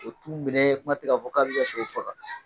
O t'u minɛ kuma tɛ k'a fɔ k'a b'i ka sɛw faga.